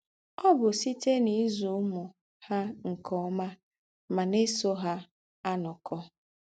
Ọ̀ bù sítè n’ízù úmù hà nke ómà mà ná-èsò hà ànókọ̀.